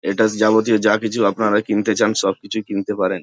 এটা হচ্ছে যাবতীয় যা কিছু আপনারা কিনতে চান সবকিছু কিনতে পারেন।